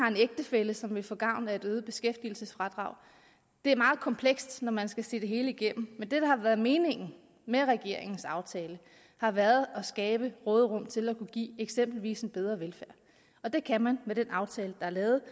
ægtefælle som vil få gavn af et øget beskæftigelsesfradrag det er meget komplekst når man skal se det hele igennem men det der har været meningen med regeringens aftale har været at skabe råderum til at kunne give eksempelvis en bedre velfærd og det kan man med den aftale der er lavet